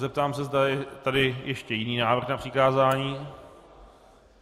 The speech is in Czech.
Zeptám se, zda je tady ještě jiný návrh na přikázání.